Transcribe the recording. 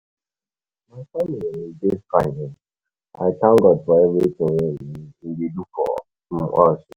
my family um dey fine, I thank God for everything wey um e dey do for um us.